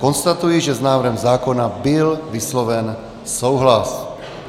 Konstatuji, že s návrhem zákona byl vysloven souhlas.